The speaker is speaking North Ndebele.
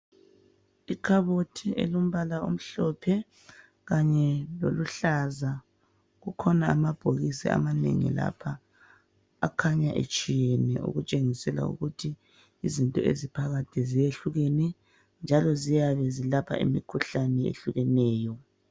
Ikhabothi elombala omhlophe kanye loluhlaza, kukhona amabhokisi amanengi lapha .Akhanya etshiyeneyo okutshengisela ukuthi izinto eziphakathi ziyehlukene njalo ziyabe zilapha imikhuhlane ehlukeneyo.